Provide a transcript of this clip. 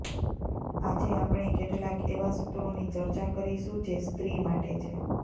આજે આપણે કેટલાક એવા સૂત્રોની ચર્ચા કરીશું જે સ્ત્રી માટે છે